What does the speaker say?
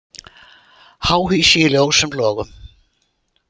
Háhýsi í ljósum logum